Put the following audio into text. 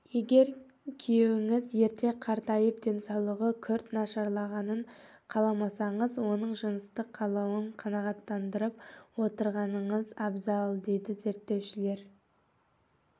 егер күйеуіңіз ерте қартайып денсаулығы күрт нашарлағанын қаламасаңыз оның жыныстық қалауын қанағаттандырып отырғаныңыз абзал дейді зерттеушілер